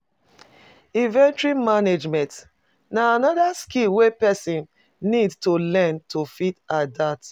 Inventory management na anoda skill wey person need to learn to fit adapt